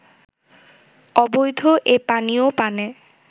অবৈধ এ পানীয় পানে